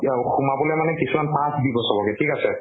কি আউ সোমাবলৈ মানে কিছুমান pass দিব চবকে ঠিক আছে।